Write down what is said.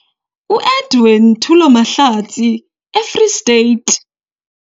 UEdwin Thulo Mahlatsi - eFree State